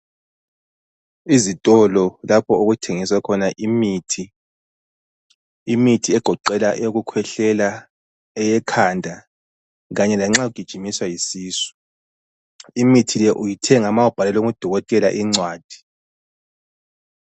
Izitolo lapho okuthengiswa khona imithi, imithi egoqela eyokukhwehlela, eyekhanda, kanye lanxa ugijinyiswa yisisu, imithi le uyithenga ma ubhalelwe ngudokotela incwadi.